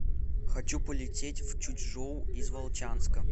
хочу полететь в чучжоу из волчанска